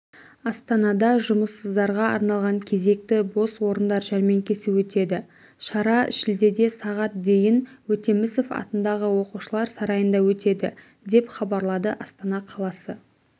астанада жұмыссыздарға арналған кезекті бос орындар жәрмеңкесі өтеді шара шілдеде сағат дейін өтемісов атындағы оқушылар сарайында өтеді деп хабарлады астана қаласы